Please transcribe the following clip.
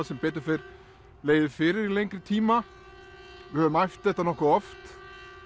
sem betur fer legið fyrir í lengri tíma við höfum æft þetta nokkuð oft